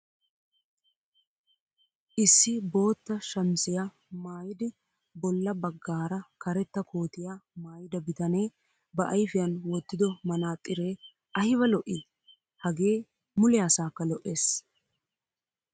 Issi bootta shamisiya maayidi bolla baggaara karetta kootiya maayida bitanee ba ayfiyan wottido manaaxxiree ayba lo'ii! Hagee mule asaakka lo'ees.